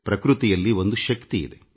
ಪ್ರಕೃತಿಯಲ್ಲಿ ಒಂದು ಶಕ್ತಿಯಿದೆ